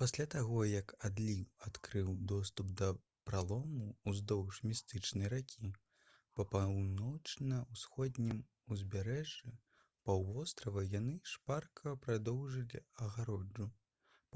пасля таго як адліў адкрыў доступ да пралому ўздоўж містычнай ракі па паўночна-ўсходнім узбярэжжы паўвострава яны шпарка прадоўжылі агароджу